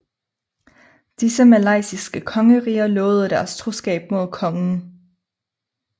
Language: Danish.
Disse malaysiske kongeriger lovede derefter troskab mod kongen